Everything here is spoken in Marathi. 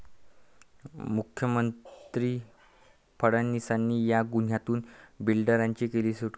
मुख्यमंत्री फडणवीसांनी 'या' गुन्ह्यातून बिल्डरांची केली सुटका